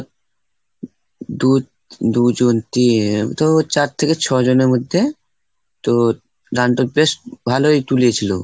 দু ⁓ দু জন, তিন তো চার থেকে ছয় জনের মধ্যে তো দানটক বেশ ভালোই তুলেছিল।